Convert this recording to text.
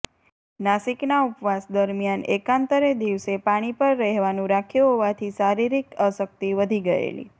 નાશિકના ઉપવાસ દરમિયાન એકાંતરે દિવસે પાણી પર રહેવાનું રાખ્યું હોવાથી શારીરિક અશક્તિ વધી ગયેલી